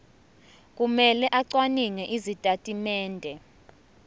kumele acwaninge izitatimende